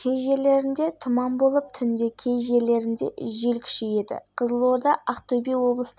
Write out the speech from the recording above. өзге тағы үш шекара бақылау бөлімі бар олардың барлығында да жұмыс бірқалыпты